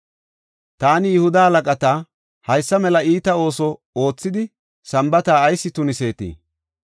Taani Yihuda halaqata, “Haysa mela iita ooso oothidi Sambaata ayis tuniseetii?